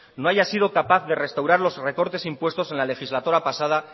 no haya sido capaz de restaurar los recortes impuestos en la legislatura pasada